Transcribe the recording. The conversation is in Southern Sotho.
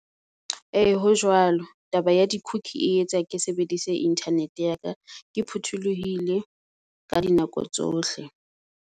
Ee, ho jwalo. Taba ya di cookie e etsa ke sebedise internet ya ka, ke phuthulohile ka di nako tsohle.